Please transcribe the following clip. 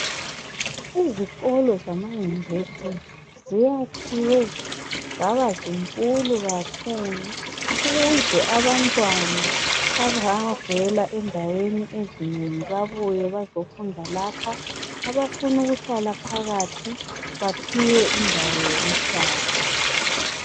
Izikolo zama yunivesithi ,ziyakhiwe zaba zinkulu kakhulu .Ukuze abantwana abavela endaweni ezinengi babuye bazofunda lapha .Abafunukuhlala phakathi baphiwe indawo zokuhlala.